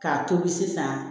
K'a tobi sisan